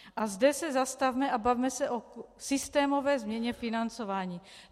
A zde se zastavme a bavme se o systémové změně financování.